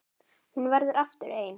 Og hún verður aftur ein.